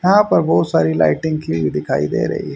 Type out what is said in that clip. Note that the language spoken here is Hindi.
यहां पर बहुत सारी लाइटिंग की हुई दिखाई दे रही--